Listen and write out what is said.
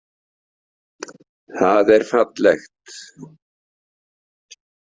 Það er fallegt.